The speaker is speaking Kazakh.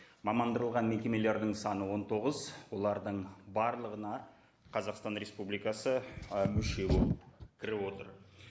мекемелердің саны он тоғыз олардың барлығына қазақстан республикасы ы мүше болып кіріп отыр